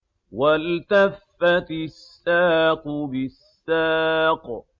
وَالْتَفَّتِ السَّاقُ بِالسَّاقِ